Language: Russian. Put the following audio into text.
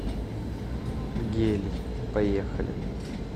гелий поехали